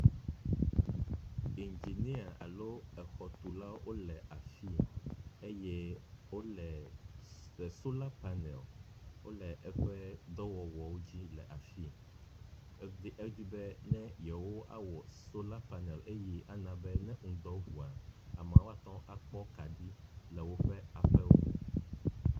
Ingenia alo exɔtulawo wo le afi sia eye wo le sola panel wo le eƒe dɔwɔwɔwo dzi le afi ebe edzi be ne yewoawɔ sola panel eye ana be ne ŋdɔ ŋua amewo ate ŋu akpɔ woƒe akaɖi le woƒe aƒewo me.